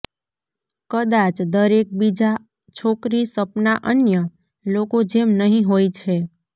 કદાચ દરેક બીજા છોકરી સપના અન્ય લોકો જેમ નહિં હોય છે